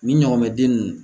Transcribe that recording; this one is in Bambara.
Nin ɲɔgɔn mɛn den ninnu